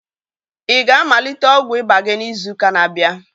Ị ga-amalite ọgwụ ịba gị n'izu ụka na-abịa?